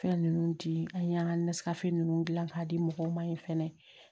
Fɛn ninnu di an y'an ka ninnu dilan k'a di mɔgɔw ma yen fɛnɛ